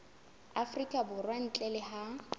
afrika borwa ntle le ha